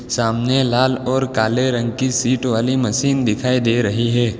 सामने लाल और काले रंग की सीट वाली मशीन दिखाई दे रही है।